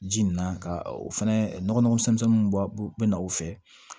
Ji nin na ka o fɛnɛ nɔgɔ nɔgɔn fɛnmisɛnninw b'a bɛna o fɛ